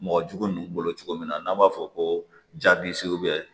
Mɔgɔ jugu ninnu bolo cogo min na n'an b'a fɔ ko